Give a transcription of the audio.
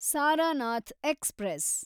Sarnath express